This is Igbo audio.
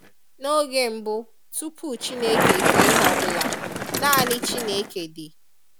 Noge mbu, tupu Chineke e kee ihe ọbula, nani Chineke di.